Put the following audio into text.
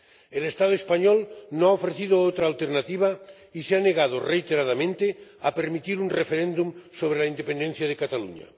El Estado español no ha ofrecido otra alternativa y se ha negado reiteradamente a permitir un referéndum sobre la independencia de Cataluña.